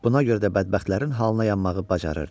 Buna görə də bədbəxtlərin halına yanmağı bacarırdı.